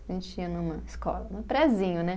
A gente ia numa escola, no prezinho, né?